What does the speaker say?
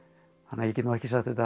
ég get nú ekki sagt að þetta